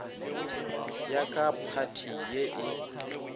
ya ka phathi ye e